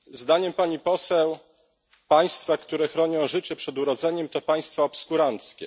Zdaniem Pani Poseł państwa, które chronią życie już przed narodzinami, to państwa obskuranckie.